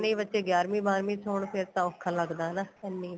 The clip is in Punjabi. ਬੱਚੇ ਗਿਆਰਵੀ ਬਾਰਵੀ ਚ ਹੋਣ ਫੇਰ ਤਾਂ ਔਖਾ ਲੱਗਦਾ ਹਨਾ ਇੰਨੇ